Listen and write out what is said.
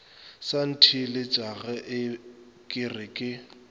sa ntheeletšage ke re ke